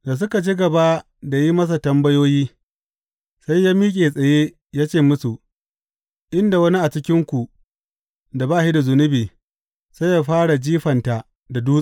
Da suka ci gaba da yin masa tambayoyi, sai ya miƙe tsaye ya ce musu, In da wani a cikinku da ba shi da zunubi, sai yă fara jifanta da dutse.